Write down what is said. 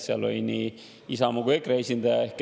Seal olid nii Isamaa kui ka EKRE esindaja.